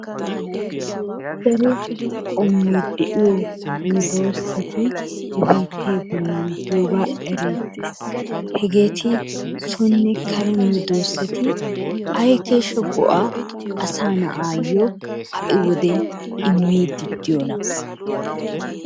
Daroo qommoy de'iyoo medossati he bittee bollan de'iyogaa erettes, hegetti soonne karee medosatti ayi kesha go'aa asaa naayo ha'i wodiyan immiddi de'iyonna.